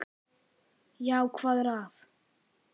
Já, hvað var að?